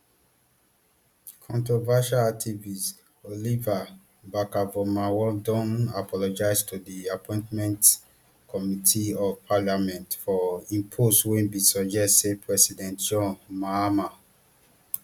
controversial activist oliver barkervormawor don apologize to di appointment committee of parliament for im post wey bin suggest say president john mahama